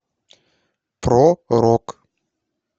про рок